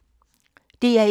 DR1